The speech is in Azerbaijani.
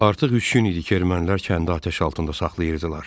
Artıq üç gün idi ki, ermənilər kəndi atəş altında saxlayırdılar.